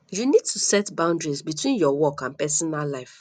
you need to set boundaries between your work and pesinal life